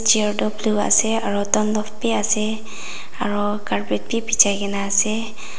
chair tu blue ase aru dalof bhi ase aru carpet bhi bichai kena ase.